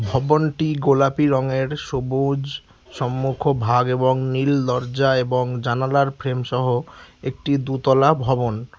ভবনটি গোলাপি রঙের সবুজ সম্মুখভাগ এবং নীল দরজা এবং জানালার ফ্রেমসহ একটি দুতলা ভবন।